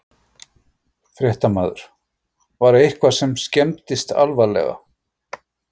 Fréttamaður: Var eitthvað sem skemmdist alvarlega?